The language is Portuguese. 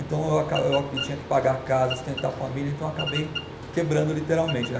Então eu aca, eu aqui tinha que pagar a casa, sustentar a família, então eu acabei quebrando literalmente, né?